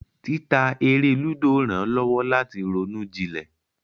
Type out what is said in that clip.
Títa eré lúdò rán lowo lati roún jilè.